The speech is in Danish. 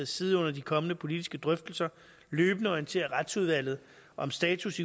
side under de kommende politiske drøftelser løbende orientere retsudvalget om status